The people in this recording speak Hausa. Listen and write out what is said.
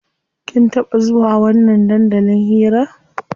Kin taɓa zuwa wannan dandalin hiran?